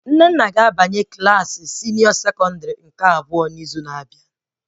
Nnenna ga-abanye Klassị sekọndrị abụọ nke senịọ n'izu na-abịa